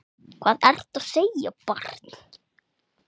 Hvað ertu að segja barn?